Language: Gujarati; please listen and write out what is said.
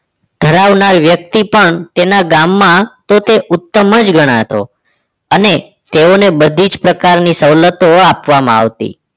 ધરાવનાર વ્યક્તિ પણ તેના ગામમાં તે ઉત્તમ જ ગણાતો અને તેઓને બધી જ પ્રકારની સવલતો આપવામાં આવતી